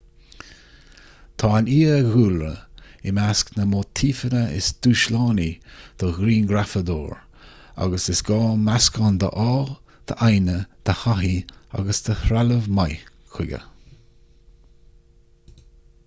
tá an fiadhúlra i measc na móitífeanna is dúshlánaí don ghrianghrafadóir agus is gá meascán d'ádh d'fhoighne de thaithí agus de threalamh maith chuige